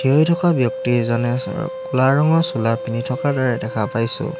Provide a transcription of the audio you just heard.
থিয়হি থকা ব্যক্তি এজনে চা ৰ কোলা ৰঙৰ চোলা পিন্ধি থকাৰ দৰে দেখা পাইছোঁ।